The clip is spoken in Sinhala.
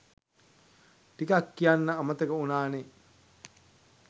ටිකක් කියන්න අමතක වුනානේ.